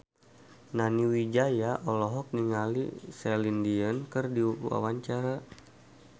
Nani Wijaya olohok ningali Celine Dion keur diwawancara